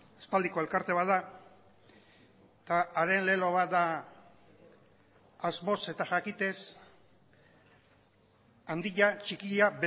aspaldiko elkarte bat da eta haren lelo bat da asmoz eta jakitez handia txikia